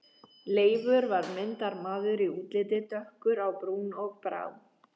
Leifur var myndarmaður í útliti, dökkur á brún og brá.